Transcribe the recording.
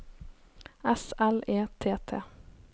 S L E T T